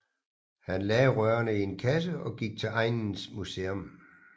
Han lagde rørene i en kasse og gik til egnens museum